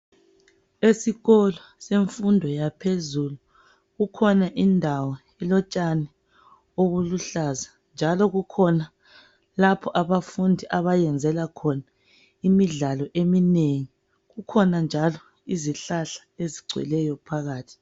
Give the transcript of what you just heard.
Esikolo semfundo yaphezulu kukhona indawo elotshani obuluhlaza njalo kukhona lapho abafundi abayenzela khona imidlalo eminengi. Kukhona njalo izihlahla ezigcweleyo phakathi.